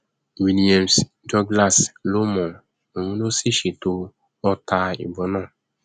williams douglas ló mọ ọn òun ló sì ṣètò ọta ìbọn náà